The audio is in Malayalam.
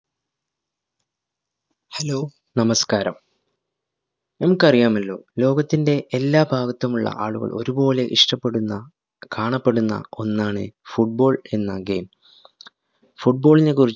hello, നമസ്കാരം. നിങ്ങള്‍ക്കറിയാമല്ലോ, ലോകത്തിൻറെ എല്ലാ ഭാഗത്തുമുള്ള ആളുകള്‍ ഒരുപോലെ ഇഷ്ട്ടപെടുന്ന, കാണപ്പെടുന്ന ഒന്നാണ് football എന്ന game. football നെക്കുറിച്ച്